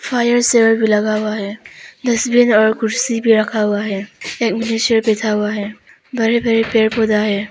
Fire saver भी लगा हुआ है। तस्वीर और कुर्सी भी रखा हुआ है। एक मनुष्य बैठा हुआ है। बड़े बड़े पेड़ पौधा है।